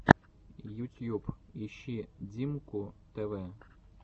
ютьюб ищи диммку тв